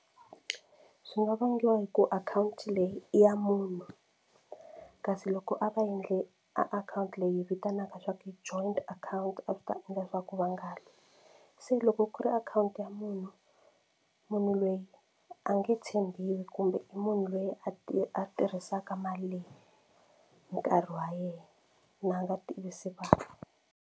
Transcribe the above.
Swi nga vangiwa hi ku akhawunti leyi i ya munhu kasi loko a va endle a akhawunti leyi vitanaka swa ku joint account a swi ta endla leswaku va nga lwi se loko ku ri akhawunti ya munhu, munhu loyi a nge tshembiwi kumbe i munhu loyi a ti a tirhisaka mali leyi hi nkarhi wa yena na a nga tivisi vanhu.